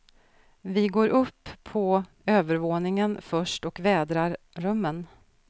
Vi går upp på övervåningen först och vädrar rummen.